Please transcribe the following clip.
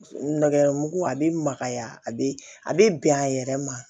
Nɛgɛ mugu a be makaya a be a be bɛn a yɛrɛ ma